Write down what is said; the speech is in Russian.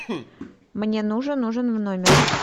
мне нужен ужин в номер